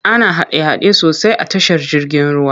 Ana hada-hada sosai tashar jirgin ruwa.